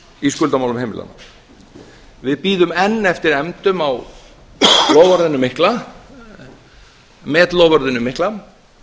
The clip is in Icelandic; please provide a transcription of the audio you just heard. í skuldamálum heimilanna við bíðum enn eftir efndum á met loforðinu mikla